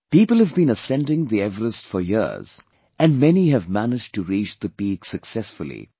People have been ascending the Everest for years & many have managed to reach the peak successfully